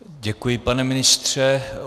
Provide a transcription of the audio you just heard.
Děkuji, pane ministře.